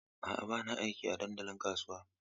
A'a, ba na aiki a dandalin kasuwa.